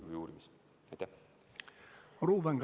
Ruuben Kaalep, palun!